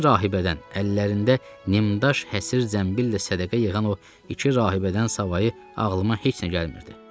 İki rahibədən, əllərində nimdaş həsirdən billə sədəqə yığan o iki rahibədən savayı ağlıma heç nə gəlmirdi.